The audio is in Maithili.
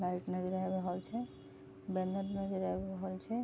लाइट नजर आ रहल छे बैनर नजर आ रहल छे।